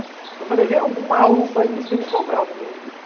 Porque eu falei, vem algum maluco aí nesse período e vai operar o menino.